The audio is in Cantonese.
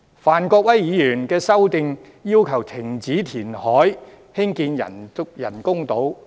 范國威議員的修正案要求停止填海興建人工島。